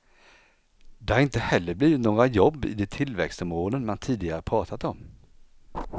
Det har inte heller blivit några jobb i de tillväxtområden man tidigare pratat om.